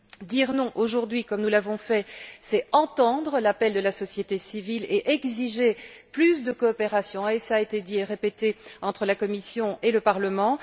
Dire non aujourd'hui, comme nous l'avons fait, c'est entendre l'appel de la société civile et exiger plus de coopération cela a été dit et répété entre la Commission et le Parlement.